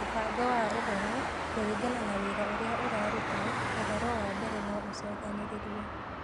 Mũbango wa Ũhoro, kũringana na wĩra ũrĩa ũrarutwo, ũhoro wa mbere no ũcookanĩrĩrio.